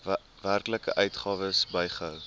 werklike uitgawes bygehou